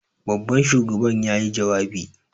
Babban shugaban yayi jawabi.